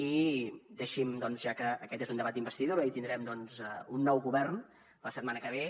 i deixi’m ja que aquest és un debat d’investidura i tindrem un nou govern la setmana que ve